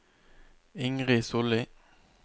Ingrid Solli